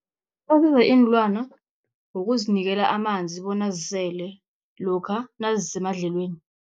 Asiza iinlwana ngokuzinikela amanzi bona zisele lokha nazisemidlelweni.